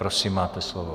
Prosím, máte slovo.